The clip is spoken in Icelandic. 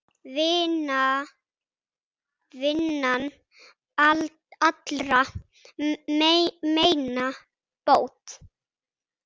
Vinnan allra meina bót.